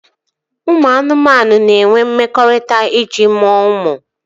Ụmụ anụmanụ na-enwe mmekọrịta iji mụọ ụmụ